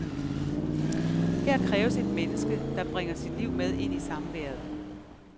Her kræves et menneske, der bringer sit liv med ind i samværet.